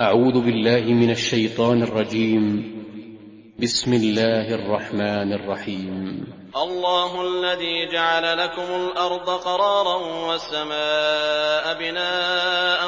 اللَّهُ الَّذِي جَعَلَ لَكُمُ الْأَرْضَ قَرَارًا وَالسَّمَاءَ بِنَاءً